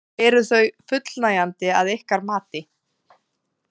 Eru þau fullnægjandi að ykkar mati?